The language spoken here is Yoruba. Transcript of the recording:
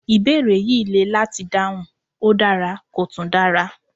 Ìbéèrè yìí le láti dáhùn, ó dára kò tún dara